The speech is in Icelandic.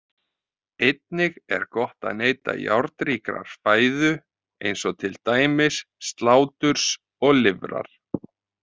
Einnig er gott að neyta járnríkrar fæðu eins og til dæmis sláturs og lifrar.